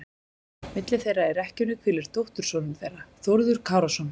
Milli þeirra í rekkjunni hvílir dóttursonur þeirra, Þórður Kárason.